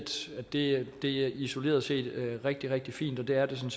det det isoleret set er rigtig rigtig fint og det er det